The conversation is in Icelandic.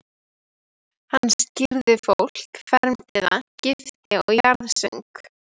Hann skírði fólk, fermdi það, gifti og jarðsöng.